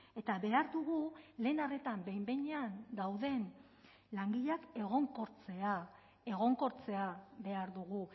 eta behar dugu lehen arretan behin behinean dauden langileak egonkortzea egonkortzea behar dugu